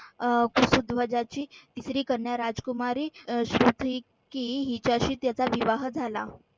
अह तिसरी कन्या राजकुमारी अह हिच्याशी त्याचा विवाह झाला.